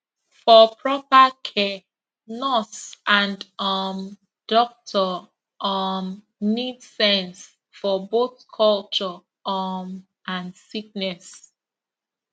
for proper care nurse and um doctor um need sense for both culture um and sickness